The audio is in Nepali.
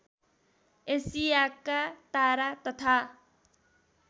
एसियाका तारा तथा